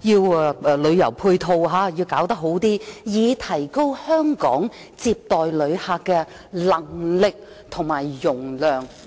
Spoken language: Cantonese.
設旅遊配套設施，以提高香港接待旅客的能力和容量"。